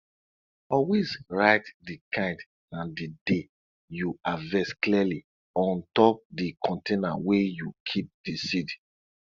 always write di kind and di day you harvest clearly on top di container wey you keep di seed